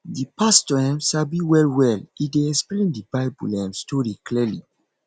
di pastor um sabi well well e dey explain di bible um story clearly